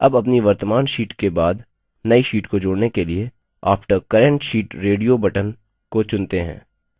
अब अपनी वर्त्तमान sheet के बाद now sheet को जोड़ने के लिए after current sheet radio button को चुनते हैं